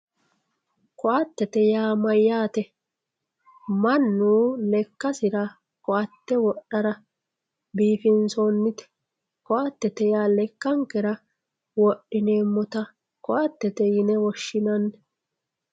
koatete yaa mayyate mannu lekkasira koatte wodhara biifinsoonnite koatete yaa lekkankera wodhineemmota koattete yine woshshinanni